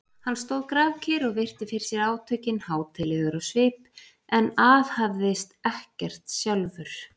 Hann stóð grafkyrr og virti fyrir sér átökin, hátíðlegur á svip en aðhafðist ekkert sjálfur.